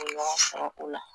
O ye ɲɔgɔn sɔrɔ o la